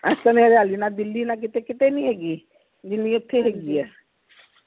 ਇਸ ਹਰਿਆਲੀ ਨਾ ਦਿੱਲੀ ਨਾ ਕਿਤੇ ਕੀਤੇ ਨੀ ਹੇਗੀ ਜਿਨਿ ਇਥੇ ਹੈਗੀ ਐ ਹਾਂ